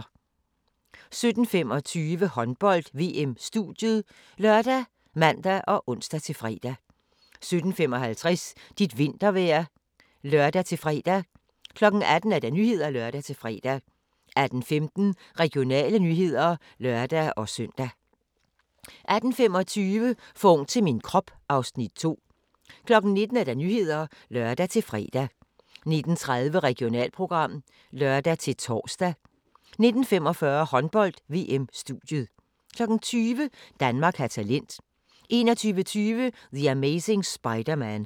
17:25: Håndbold: VM - studiet ( lør, man, ons-fre) 17:55: Dit vintervejr (lør-fre) 18:00: Nyhederne (lør-fre) 18:15: Regionale nyheder (lør-søn) 18:25: For ung til min krop (Afs. 2) 19:00: Nyhederne (lør-fre) 19:30: Regionalprogram (lør-tor) 19:45: Håndbold: VM - studiet 20:00: Danmark har talent 21:20: The Amazing Spider-Man